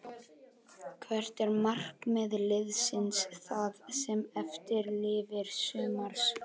Hvert er markmið liðsins það sem eftir lifir sumars?